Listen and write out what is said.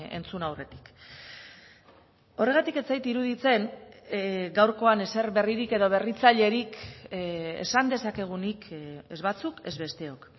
entzun aurretik horregatik ez zait iruditzen gaurkoan ezer berririk edo berritzailerik esan dezakegunik ez batzuk ez besteok